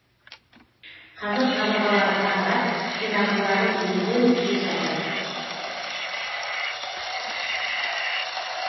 қазір қабырғалары қаңырап қирандылары үйілген күйі жатыр